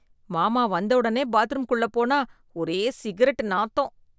மாமா வந்தவுடனே பாத்ரூம்குள்ள போனா ஒரே சிகரெட் நாத்தம்.